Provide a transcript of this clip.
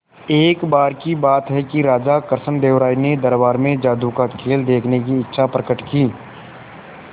एक बार की बात है कि राजा कृष्णदेव राय ने दरबार में जादू का खेल देखने की इच्छा प्रकट की